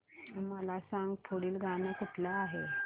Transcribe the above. मला सांग पुढील गाणं कुठलं आहे